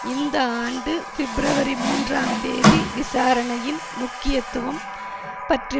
இந்த ஆண்டு பிப்ரவரி மூன்றாம் தேதி விசாரணையின் முக்கியத்துவம் பற்றி